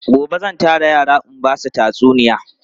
Gobe zan tara yara in ba su tatsuniya.